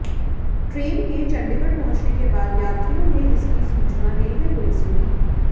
train के चंडीगढ़ पहुंचने के बाद यात्रियों ने इसकी सूचना रेलवे पुलिस को दी